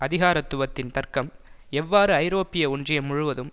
அதிகாரத்துவத்தின் தர்க்கம் எவ்வாறு ஐரோப்பிய ஒன்றியம் முழுவதும்